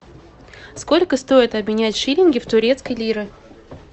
сколько стоит обменять шиллинги в турецкие лиры